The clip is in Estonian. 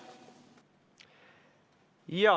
Jaa.